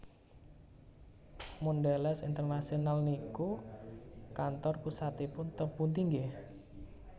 Mondelez International niku kantor pusatipun teng pundi nggeh